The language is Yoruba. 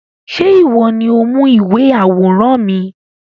Ṣé ìwọ ni ó mú ìwé àwòrán mi?